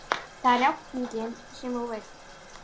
Það er játningin sem þú vilt.